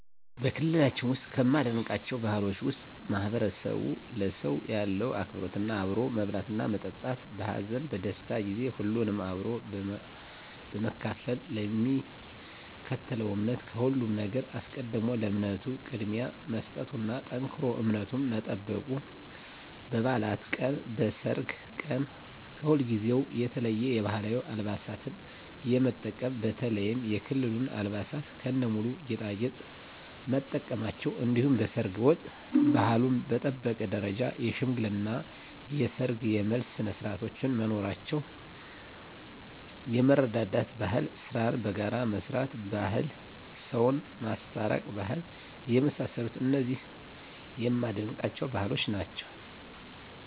በክልላችን ውስጥ ከማደንቃቸው ባህሎች ውስጥ ማህበረሰቡ ለሰው ያለው አክብሮት አብሮ መብላትና መጠጣት በሀዘን በደስታ ጊዜ ሁሉንም አብሮ በመካፈል ለሚከተለው እምነት ከሁሉም ነገር አስቀድሞ ለእምነቱ ቅድሚያ መስጠቱና ጠንክሮ እምነቱን መጠበቁ በባዕላት ቀን በሰርግ ቀን ከሁልጊዜው የተለየ የባህላዊ አልባሳትን የመጠቀም በተለይም የክልሉን አልባሳት ከነሙሉ ጌጣጌጥ መጠቀማቸው እንዲሁም በሰርግ ወቅት ባህሉን በጠበቀ ደረጃ የሽምግልና የሰርግ የመልስ ስነስርዓቶች መኖራቸው የመረዳዳት ባህል ስራን በጋራ የመስራት ባህል ሰውን የማስታረቅ ባህል የመሳሰሉት እነዚህ የማደንቃቸው ባህሎች ናቸዉ።